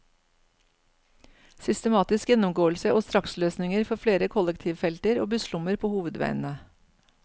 Systematisk gjennomgåelse og straksløsninger for flere kollektivfelter og busslommer på hovedveiene.